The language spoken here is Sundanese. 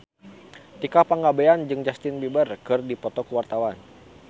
Tika Pangabean jeung Justin Beiber keur dipoto ku wartawan